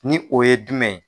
Ni o ye jumɛn